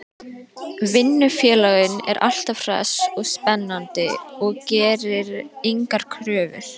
Vinnufélaginn er alltaf hress og spennandi og gerir engar kröfur.